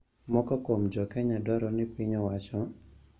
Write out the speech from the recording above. Moko kuom jo Kenya dwaro ni piny owacho